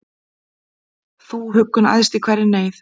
Þú huggun æðst í hverri neyð,